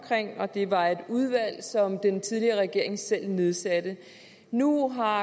og det var et udvalg som den tidligere regering selv nedsatte nu har